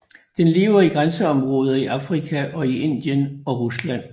Den lever i græsområder i Afrika og i Indien og Rusland